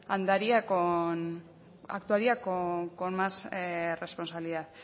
andaría actuaria con más responsabilidad